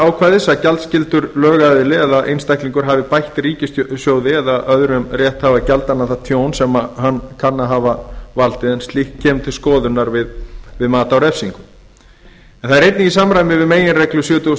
ákvæðis að gjaldskyldur lögaðili eða einstaklingur hafi bætt ríkissjóði eða öðrum rétthafa gjaldanna það tjón sem hann kann að hafa valdið en slíkt kemur til skoðunar við mat á refsingu en það er einnig í samræmi við meginreglu sjötugasta og